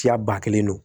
Siya ba kelen don